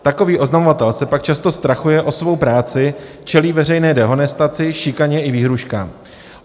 Takový oznamovatel se pak často strachuje o svou práci, čelí veřejné dehonestaci, šikaně i výhrůžkám.